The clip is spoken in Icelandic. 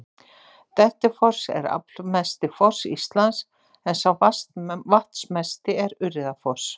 Dettifoss er aflmesti foss Íslands en sá vatnsmesti er Urriðafoss.